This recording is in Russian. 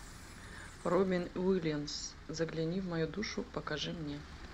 робин уильямс загляни в мою душу покажи мне